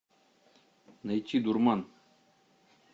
найти дурман